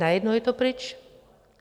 Najednou je to pryč.